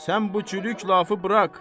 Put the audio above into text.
Sən bu cürlük lafı burax.